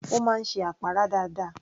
Ó máa ń ṣe àpárá dáadáa